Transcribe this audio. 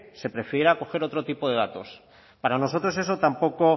se prefiera coger otro tipo de datos para nosotros eso tampoco